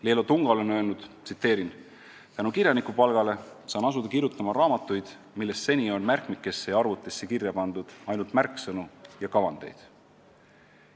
Leelo Tungal on öelnud: "Tänu kirjanikupalgale saan asuda kirjutama raamatuid, millest seni on märkmikesse ja arvutisse kirja pandud ainult märksõnu ja kavandeid.